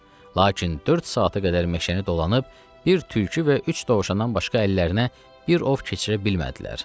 Lakin dörd saata qədər meşəni dolanıb, bir tülkü və üç dovşandan başqa əllərinə bir ov keçirə bilmədilər.